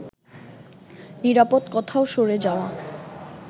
নিরাপদ কোথাও সরে যাওয়া